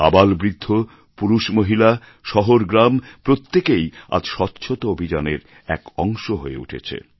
আবালবৃদ্ধ পুরুষ মহিলা শহর গ্রাম প্রত্যেকেই আজ স্বচ্ছতা অভিযানের এক অংশ হয়ে উঠেছে